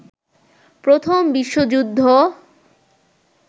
প্রথম বিশ্বযুদ্ধ